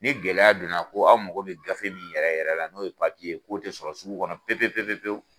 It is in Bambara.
Ni gɛlɛya donna ko aw mago bɛ gafe min yɛrɛ yɛrɛ la , n'o ye papiye ye k'o tɛ sɔrɔ sugu kɔnɔ pewu- pewu